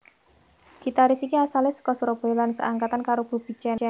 Gitaris iki asale saka Surabaya lan seangkatan karo Bubi Chen